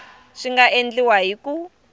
swi nga endliwa hi ku